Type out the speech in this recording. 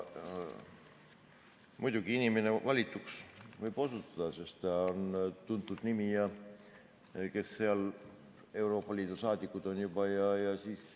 Muidugi, inimene võib valituks osutuda, sest ta on tuntud nimi, need, kes Euroopa Liidus juba saadikud on.